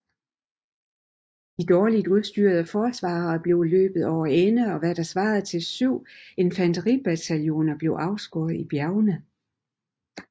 De dårligt udstyrede forsvarere blev løbet over ende og hvad der svarede til syv infanteribataljoner blev afskåret i bjergene